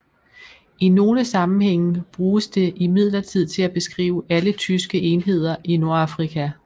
I nogle sammenhænge bruges det imidlertid til at beskrive alle tyske enheder i Nordafrika